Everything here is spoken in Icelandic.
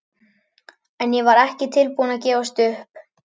En ég var ekki tilbúin að gefast upp.